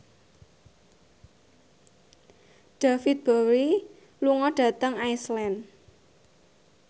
David Bowie lunga dhateng Iceland